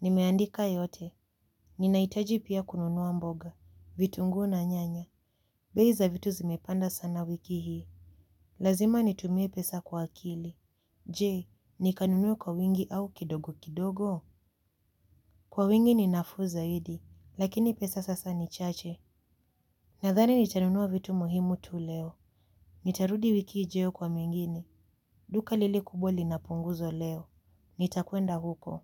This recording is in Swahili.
Nimeandika yote ninahitaji pia kununua mboga. Vitunguu na nyanya. Bei za vitu zimepanda sana wiki hii. Lazima nitumie pesa kwa akili. Je nikanunue kwa wingi au kidogo kidogo. Kwa wingi ni nafuu zaidi. Lakini pesa sasa ni chache. Nadhani nitanunua vitu muhimu tu leo. Nitarudi wiki ijayo kwa mengine. Duka lile kubwa linapunguzwa leo nitakwenda huko.